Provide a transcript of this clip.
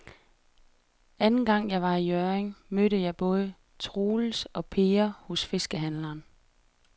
Anden gang jeg var i Hjørring, mødte jeg både Troels og Per hos fiskehandlerne.